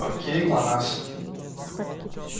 к кому пришла красавица